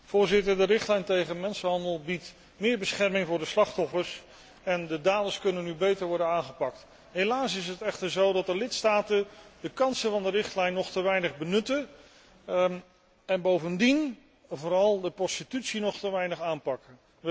Voorzitter, de richtlijn tegen mensenhandel biedt meer bescherming voor de slachtoffers en de daders kunnen nu beter worden aangepakt. Helaas is het echter zo dat de lidstaten de kansen van de richtlijn nog te weinig benutten en bovendien vooral de prostitutie nog te weinig aanpakken.